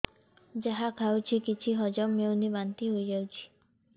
ଯାହା ଖାଉଛି କିଛି ହଜମ ହେଉନି ବାନ୍ତି ହୋଇଯାଉଛି